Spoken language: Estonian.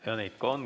Ja neid ka on.